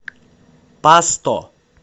пасто